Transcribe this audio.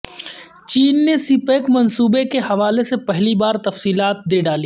چین نے CPEC منصوبے کے حوالے سے پہلی بار تفصیلات دے ڈالیں